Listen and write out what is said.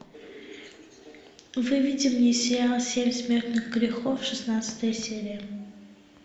выведи мне сериал семь смертных грехов шестнадцатая серия